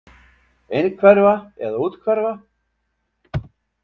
Innhverfa eða úthverfa?